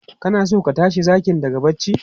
Kana so ka tashi zakin daga barci?